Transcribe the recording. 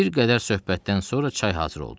Bir qədər söhbətdən sonra çay hazır oldu.